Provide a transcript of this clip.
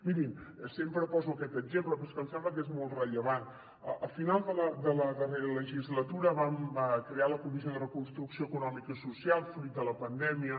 mirin sempre poso aquest exemple però és que em sembla que és molt rellevant al final de la darrera legislatura vam crear la comissió de reconstrucció econòmica i social fruit de la pandèmia